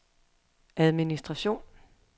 administration